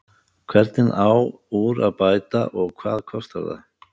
Hvernig á úr að bæta og hvað kostar það?